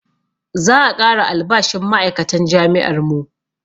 Za a ƙara albashin ma'aikatan jami'ar mu